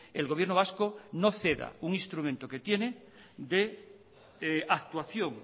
el gobierno vasco no ceda un instrumento que tiene de actuación